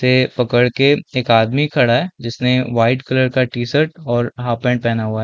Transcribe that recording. ये पकड़ के एक आदमी खड़ा हैं जिसने वाइट कलर का टीशर्ट और हाफ पेंट पहना हुआ हैं।